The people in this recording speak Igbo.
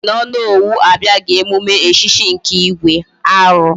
Gini mere na Onowu abiaghi emume echichi nke igwe? Aru!